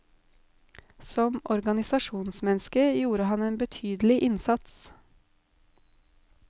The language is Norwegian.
Som organisasjonsmenneske gjorde han en betydelig innsats.